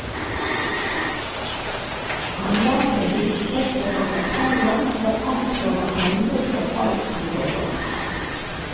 Han lar seg hisse opp av bagateller og anklager andre for alt som går galt.